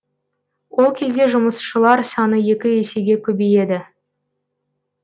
ол кезде жұмысшылар саны екі есеге көбейеді